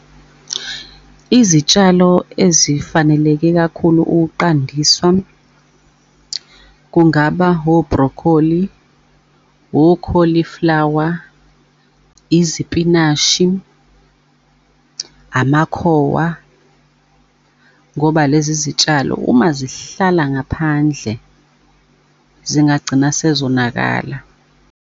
Izitshalo ezifaneleke kakhulu ukuqandiswa, kungaba o-broccoli, o-cauliflower, izipinashi, amakhowa, ngoba lezi zitshalo uma zihlala ngaphandle zingagcina sezonakala.